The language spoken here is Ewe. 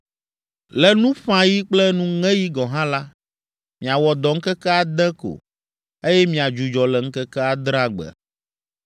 “Le nuƒãɣi kple nuŋeɣi gɔ̃ hã la, miawɔ dɔ ŋkeke ade ko, eye miadzudzɔ le ŋkeke adrea gbe.